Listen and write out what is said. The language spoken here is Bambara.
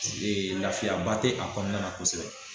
lafiyaba tɛ a kɔnɔna na kosɛbɛ